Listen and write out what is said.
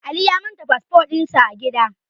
Ali ya manta fasfo din sa a gida